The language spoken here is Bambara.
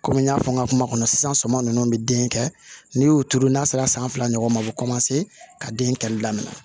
Kɔmi n y'a fɔ n ka kuma kɔnɔ sisan sɔmi ninnu bɛ den kɛ n'i y'o turu n'a sera san fila ɲɔgɔn ma a bɛ ka den kɛlɛ daminɛ